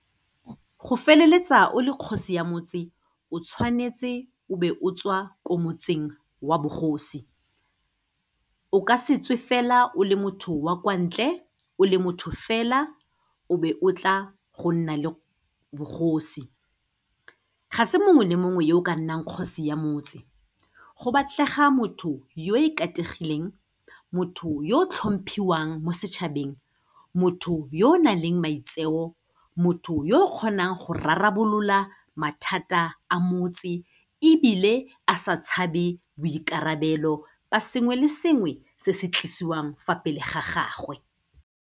Go feleletsa o le kgosi ya motse, o tshwanetse o be o tswa ko motseng wa bogosi. O ka se tswe fela o le motho wa kwa ntle o le motho fela, o be o tla go nna le bogosi. Ga se mongwe le mongwe yo o ka nnang kgosi ya motse, go batlega motho yo ikategileng, motho yo tlhomphiwang mo setšhabeng, motho yo o nang le maitseo, motho yo o kgonang go rarabolola mathata a motse ebile a sa tshabe boikarabelo ba sengwe le sengwe se se tlisiwang fa pele ga gagwe.